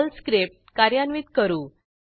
Perl script कार्यान्वित करू